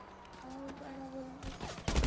ଆଉ କାଣା ବୋଲମି ?